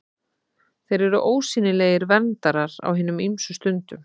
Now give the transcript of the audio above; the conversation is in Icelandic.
Þeir eru ósýnilegir verndarar á hinum ýmsu stundum.